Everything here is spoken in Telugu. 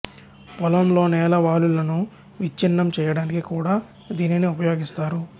పొలంలో నేల వాలులను విచ్ఛిన్నం చేయడానికి కూడా దీనిని ఉపయోగిస్తారు